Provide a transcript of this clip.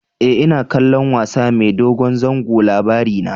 E, ina kallon wasa mai dogon zango Labarina.